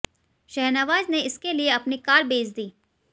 शाहनवाज ने इसके लिए अपनी कार बेच दी